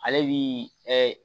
Ale bi